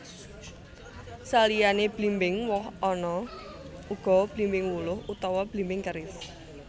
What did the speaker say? Saliyané blimbing woh ana uga blimbing wuluh utawa blimbing keris